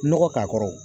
Nɔgɔ k'a kɔrɔ